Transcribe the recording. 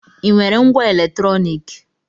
Ị nwere ngwá eletrọnịkị?